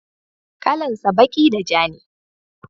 kalan sa baki da ja ne